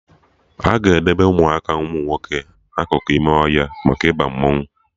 Aga edebe Ụmụaka umunwoke na akụkụ ime ọhịa maka Ịba mmanwụ